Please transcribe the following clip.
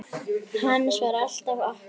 Hans var alltaf okkar.